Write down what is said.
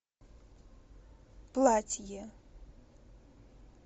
платье